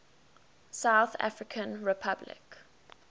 south african republic